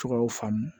Tɔgɔw faamu